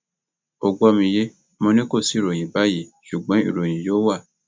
ó gbọ mi yé mo ní kò sí ìròyìn báyìí ṣùgbọn ìròyìn yóò wà